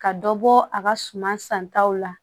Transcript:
Ka dɔ bɔ a ka suma san taw la